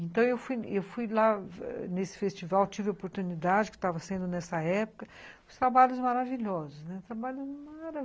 Então, eu fui eu fui lá nesse festival, tive a oportunidade, que estava sendo nessa época, de trabalhos maravilhosos, né, trabalhos.